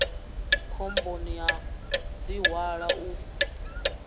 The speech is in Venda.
khomboni ya u ḓihwala u